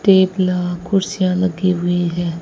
थेपला कुर्सियां लगी हुई है।